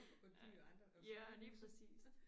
Og dyr og andre og små mus